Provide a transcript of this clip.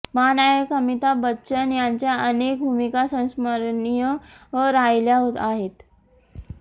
महानायक अमिताभ बच्चन यांच्या अनेक भूमिका संस्मरणीय राहिल्या आहेत